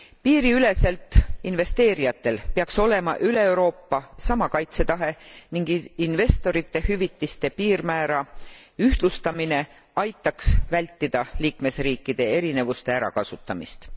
Piiriüleselt investeerijatel peaks olema üle Euroopa sama kaitsetase ning investorite hüvitiste piirmäära ühtlustamine aitaks vältida liikmesriikide erinevuste ärakasutamist.